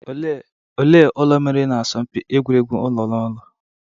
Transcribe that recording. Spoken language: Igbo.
Ole ụlọ meriri na asọmpị egwuregwu ụlo na ụlọ?